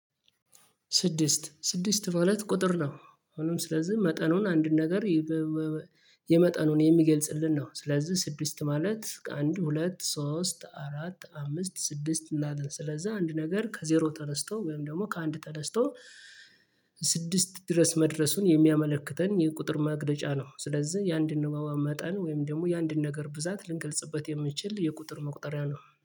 ስድስት ስድስት ማለት ቁጥር ነው አሁንም ስለዚህ መጠኑን አንድን ነገር። የመጠኑን የሚገልጽልን ነው ስለዚህ ስድስት ማለት ከአንድ ሁለት ሶስት አራት አምስት ስድስት እናትን ስለዛ አንድ ነገር ከዜሮ ተነስቶ ወይም ደግሞ ከአንድ ተነስቶ ስድስት ድረስ መድረሱን የሚያመለክተን የቁጥር ማግለጫ ነው። ስለዚህ የአንድን ነዋዋ መጠን ወይም ደግሞ የአንድን ነገር ብዛት ልንገልጽበት የምንችል የቁጥር መቁጠሪያ ነው